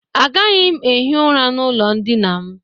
Agaghị m ehi ụra n'ụlọ ndịna m.